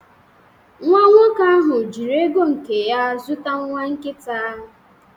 Nwa nwoke ahụ jiri ego nke ya zụta nwa nkita